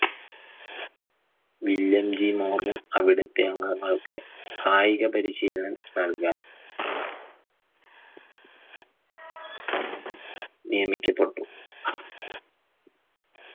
വില്ലെങ്കി Morgan അവിടത്തെ അംഗങ്ങൾക്ക് കായിക പരീശീലനം നൽകാൻ നിയമിച്ചിട്ടുണ്ട്